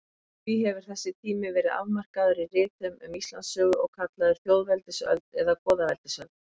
Því hefur þessi tími verið afmarkaður í ritum um Íslandssögu og kallaður þjóðveldisöld eða goðaveldisöld.